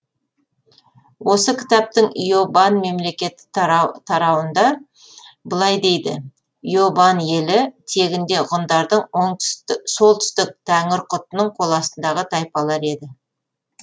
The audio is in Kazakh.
осы кітаптың иобан мемлекеті тарауында былай дейді иобан елі тегінде ғұндардың солтүстік тәңірқұтының қол астындағы тайпалар еді